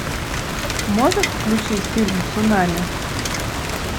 можешь включить фильм цунами